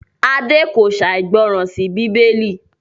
Ade kò ṣàìgbọràn sí Bíbélì